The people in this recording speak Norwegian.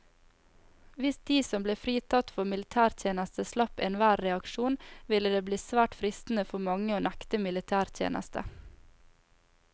Hvis de som ble fritatt for militærtjeneste slapp enhver reaksjon, ville det bli svært fristende for mange å nekte militætjeneste.